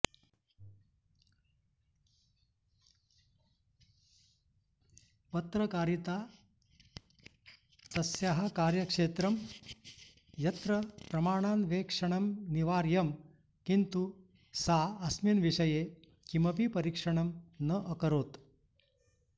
पत्रकारिता तस्याः कार्यक्षेत्रं यत्र प्रमाणान्वेक्षणमनिवार्यं किन्तु सा अस्मिन् विषये किमपि परीक्षणं न अकरोत्